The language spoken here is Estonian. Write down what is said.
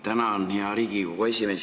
Tänan, hea Riigikogu esimees!